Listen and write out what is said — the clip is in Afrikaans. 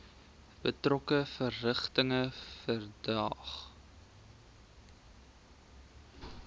betrokke verrigtinge verdaag